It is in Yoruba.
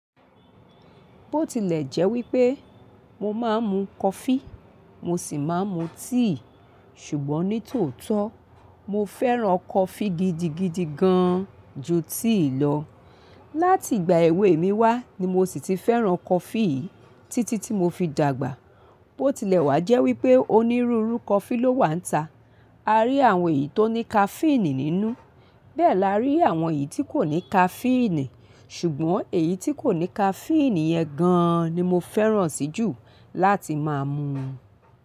Bó tilẹ̀ jẹ́ wípé mo máa ń mu coffee, mo sì máa ń mu tea, ṣùgbọ́n ní tòótọ́ mo fẹ́ràn coffee gidigidi gan ju tea lọ. Láti ìgbà èwe mi wá ni mo sì ti fẹ́ràn coffee títí tí mo fi dàgbà. Bó tilẹ̀ wá jẹ́ wípé onírúurú coffee ló wà ntá. A rí àwọn èyí tó ní caffeine nínú. Bẹ́ẹ̀ la rí àwọn èyí tí kò ní caffeine. Ṣùgbọ́n èyí tí kò ní caffeine yẹn gan ni mo fẹ́ràn sí jù láti máa mu.